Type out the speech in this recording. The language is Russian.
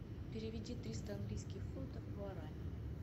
переведи триста английских фунтов в гуарани